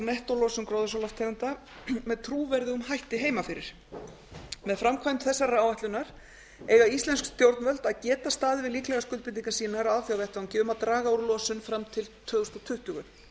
nettólosun gróðurhúsalofttegunda með trúverðugum hætti heima fyrir með framkvæmd þessarar áætlunar eiga íslensk stjórnvöld að geta staðið við líklegar skuldbindingar sínar á alþjóðavettvangi um að draga úr losun fram til tvö þúsund tuttugu